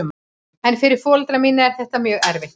En fyrir foreldra mína er þetta mjög erfitt.